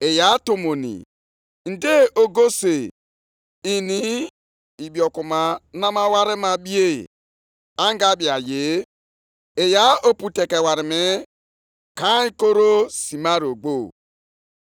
“Nke a ọ bụ oge unu onwe unu ji ebi nʼụlọ unu e ji osisi machie, mgbe ụlọnsọ ukwu a nọgidere na-adakpọsị?”